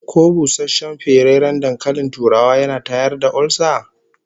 Ko busasshen ferarren dankalin turawa yana tayar da olsa?